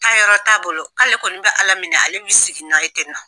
Taa yɔrɔ t'a bolo k'ale kɔni bɛ ala minɛ ale bɛ i sigi n'a ye tɛ nɔ.